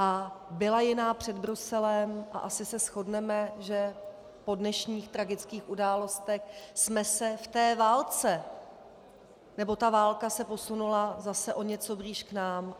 A byla jiná před Bruselem a asi se shodneme, že po dnešních tragických událostech jsme se v té válce, nebo ta válka se posunula zase o něco blíž k nám.